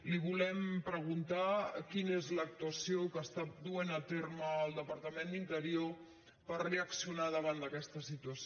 li volem preguntar quina és l’actuació que està duent a terme el departament d’interior per reaccionar davant d’aquesta situació